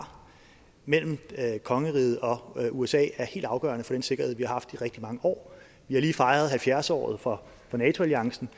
mellem kongeriget og usa er helt afgørende for den sikkerhed vi har haft i rigtig mange år vi har lige fejret halvfjerds året for nato alliancen